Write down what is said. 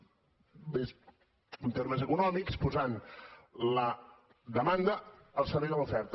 més en termes econòmics posant la demanda al servei de l’oferta